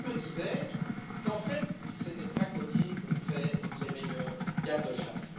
Peut être, me disais je, qu'en fait, c'est des braconniers qu'on fait les meilleurs gardes chasses.